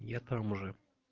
я там уже